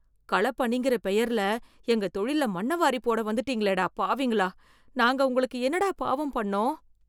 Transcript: களப் பணிங்கற பெயர்ல‌ எங்க தொழில்ல மண்ணவாரிப் போட வந்துட்டீங்களேடா ,பாவிங்களா. நாங்க உங்களுக்கு என்னடா பாவம் பண்ணோம்.